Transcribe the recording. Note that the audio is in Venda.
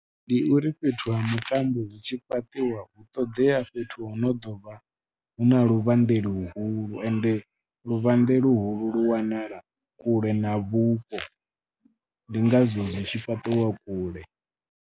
Ndi uri fhethu ha mitambo zwi tshi fhaṱiwa u ṱoḓea fhethu ho no ḓo vha hu na luvhanḓe luhulu ende luvhanḓe luhulu wanala kule na vhupo, ndi ngazwo zwi tshi fhaṱiwa kule.